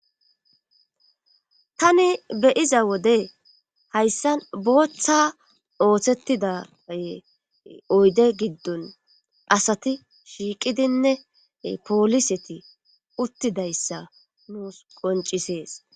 Tani beyiza wode hayssan booththa ooththettida oyde giddon asati shiiqidinne pooliseti uttidayssa nuus qoncisees